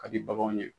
Ka di baganw ye